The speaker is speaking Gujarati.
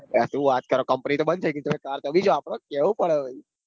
અરે સુ વાત કરો company તો બંદ થઇ તો બી કર તો વાપરો કેવું પડે ભાઈ.